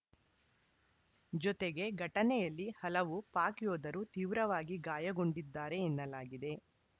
ಜೊತೆಗೆ ಘಟನೆಯಲ್ಲಿ ಹಲವು ಪಾಕ್‌ ಯೋಧರು ತೀವ್ರವಾಗಿ ಗಾಯಗೊಂಡಿದ್ದಾರೆ ಎನ್ನಲಾಗಿದೆ